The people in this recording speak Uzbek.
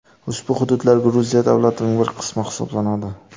Ushbu hududlar Gruziya davlatining bir qismi hisoblanadi.